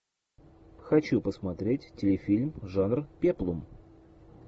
хочу посмотреть телефильм жанр пеплум